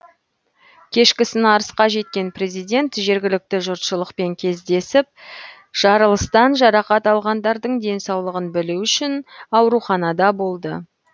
кешкісін арысқа жеткен президент жергілікті жұртшылықпен кездесіп жарылыстан жарақат алғандардың денсаулығын білу үшін ауруханада болды